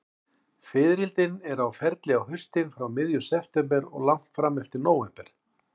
Fiðrildin eru á ferli á haustin, frá miðjum september og langt fram eftir nóvember.